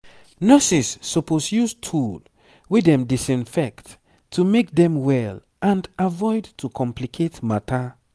nurses suppose use tool wey dem disinfect to make dem well and avoid to complicate matter